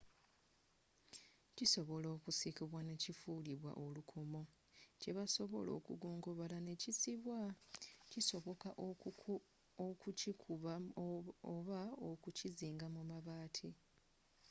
kisobola okusikibwa ne kifulibwa olukomo kye basobola okugongobala ne kisibwa kisoboka okukikuba oba okukizinga mu mabaati